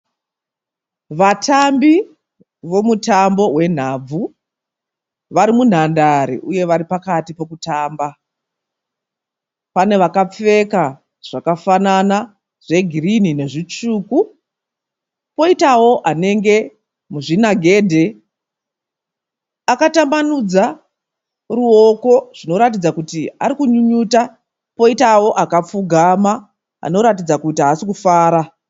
Vatambi vomutambo wenhabvu vari munhandare uye vari pakati pokutamba. Pane vakapfeka zvakafanana zvegirinhi nezvitsvuku poitawo anenge muzvinagedhe akatambanudza ruoko zvinoratidza kuti ari kunyunyuta poitawo akapfugama anoratidza kuti haasi kufara.